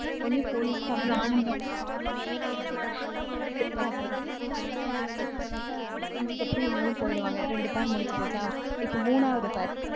உடனே police க்கு அவ்வளோ ஆனந்தம். கிட்டத்தட்ட அப்படித்தான். அதுக்கப்புறம் இவங்களும் போயிடுவாங்க. ரெண்டு pair முடிஞ்சு போச்சா? இப்போ மூணாவது pair